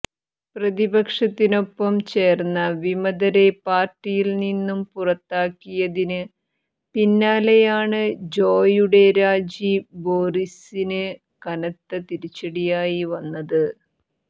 പ്രതിപക്ഷത്തിനൊപ്പം ചേർന്ന വിമതരെ പാർട്ടിയിൽനിന്ന് പുറത്താക്കിയതിന് പിന്നാലെയാണ് ജോയുടെ രാജി ബോറിസിന് കനത്ത തിരിച്ചടിയായി വന്നത്